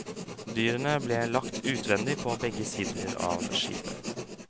Dyrene ble lagt utvendig på begge sider av skipet.